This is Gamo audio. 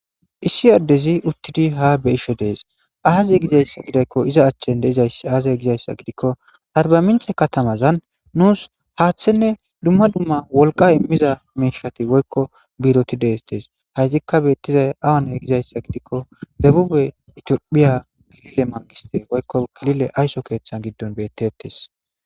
Isi addezi uttidi ha be'ishe dees aazey gizayssa gidakko iza achchen deizayssi aazey gizayssa gidikko arbamince katamazan nuus haaththenne dumma dumma wolqqa immiza miishati woykko biroti dees tees haytikka beettizay awane gizayssa gidikko debube itiophphiya kilile mangiste woykko kilile aysso keeththan giddon bettettes